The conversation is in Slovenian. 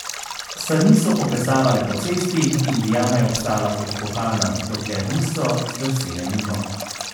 Sani so poplesavale po cesti in diana je obstala kot vkopana, dokler niso zdrsele mimo.